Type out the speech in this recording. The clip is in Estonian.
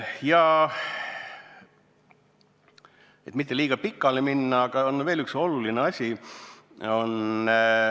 Ma ei taha liiga pikale minna, aga on veel üks oluline asi.